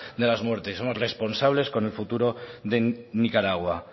de las muertes somos responsables con el futuro de nicaragua